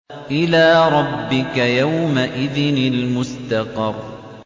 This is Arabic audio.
إِلَىٰ رَبِّكَ يَوْمَئِذٍ الْمُسْتَقَرُّ